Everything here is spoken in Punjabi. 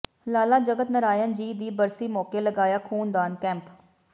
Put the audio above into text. ਲਾਲਾ ਜਗਤ ਨਾਰਾਇਣ ਜੀ ਦੀ ਬਰਸੀ ਮੌਕੇ ਲਗਾਇਆ ਖੂਨਦਾਨ ਕੈਂਪ